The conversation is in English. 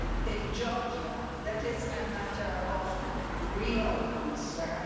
In Georgia, that is a matter of real concern.